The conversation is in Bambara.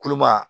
Kuluba